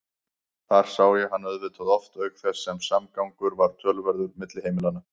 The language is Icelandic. Þar sá ég hann auðvitað oft auk þess sem samgangur var töluverður milli heimilanna.